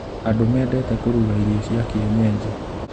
Andũ mendete kũruga irio cia kienyenji.